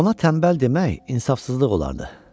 Ona tənbəl demək insafsızlıq olardı.